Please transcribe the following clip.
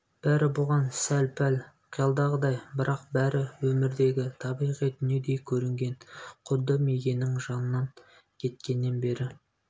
бәрі бұған сәл-пәл қиялдағыдай бірақ бәрі өмірдегі табиғи дүниедей көрінгн құдды мигэннің жанынан кеткеннен бері